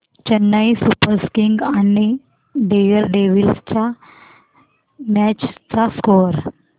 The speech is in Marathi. चेन्नई सुपर किंग्स आणि दिल्ली डेअरडेव्हील्स च्या मॅच चा स्कोअर